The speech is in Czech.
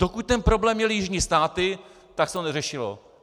Dokud ten problém měly jižní státy, tak se to neřešilo.